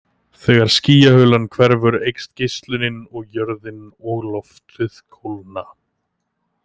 Þegar skýjahulan hverfur eykst geislunin og jörðin og loftið kólna.